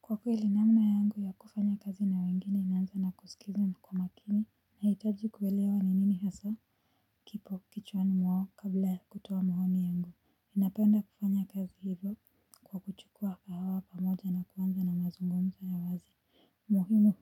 Kwa kweli namna yangu ya kufanya kazi na wengine inanza na kuskiza na kwa makini nahitaji kuelewa ni nini hasaa. Kipo kichwani mwao kabla kutoa maoni yangu ninapenda kufanya kazi hivyo kwa kuchukua hawa pamoja na kuanza na mazungumzo ya wazi. Muhimu